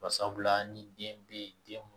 Barisabula ni den bɛ den